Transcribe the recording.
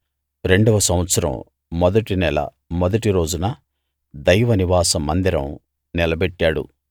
రెండవ సంవత్సరం మొదటి నెల మొదటి రోజున దైవ నివాస మందిరం నిలబెట్టాడు